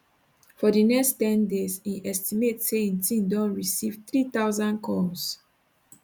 for di next ten days im estimate say im team receive 3000 calls